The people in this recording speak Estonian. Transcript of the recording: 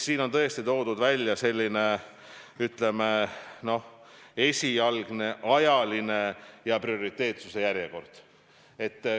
Siin on tõesti toodud välja selline esialgne ajaline ja prioriteetsuse järjekord.